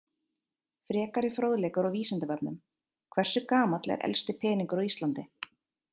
Frekari fróðleikur á Vísindavefnum: Hversu gamall er elsti peningur á Íslandi?